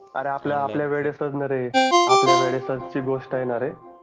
अरे आपल्या आपल्या ना रे आपल्या वेळेसच ची गोष्ट आहे ना रे